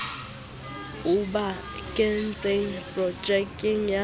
o ba kentseng projekeng ya